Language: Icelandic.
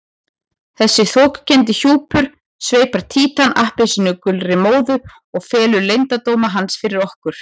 Þessi þokukenndi hjúpur sveipar Títan appelsínugulri móðu og felur leyndardóma hans fyrir okkur.